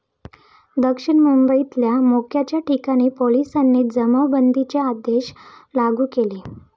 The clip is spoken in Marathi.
दक्षिण मुंबईतल्या मोक्याच्या ठिकाणी पोलिसांनी जमावबंदीचे आदेश लागू केले.